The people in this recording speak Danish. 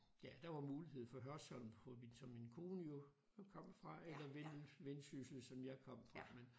Ja der var mulighed for Hørsholm som min kone jo kom fra eller Vendsyssel hvor jeg kom fra men